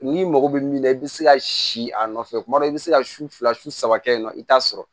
N'i mago bɛ min na i bɛ se ka si a nɔfɛ kuma dɔ i bɛ se ka su fila su saba kɛ yen nɔ i t'a sɔrɔ